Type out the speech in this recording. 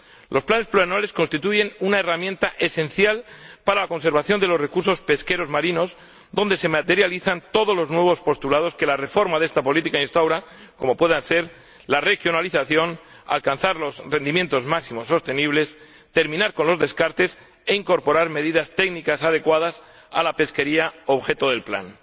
Los planes plurianuales constituyen una herramienta esencial para la conservación de los recursos pesqueros marinos, donde se materializan todos los nuevos postulados que la reforma de esta política instaura, como pueden ser la regionalización, alcanzar los rendimientos máximos sostenibles, terminar con los descartes e incorporar medidas técnicas adecuadas a la pesquería objeto del plan.